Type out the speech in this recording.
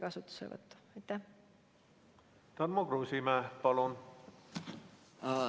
Tarmo Kruusimäe, palun!